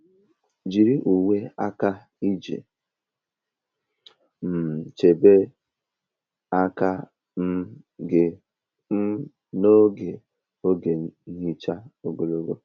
Jiri uwe aka iji um chebe aka um gị um n'oge oge nhicha ogologo.